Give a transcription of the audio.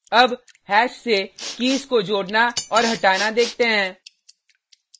अब हैश से कीज़ को जोडना और हटाना देखते हैं